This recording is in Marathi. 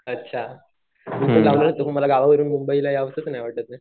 अच्छा मला गावावरून मुंबईला यावंसच नाही वाटत आहे.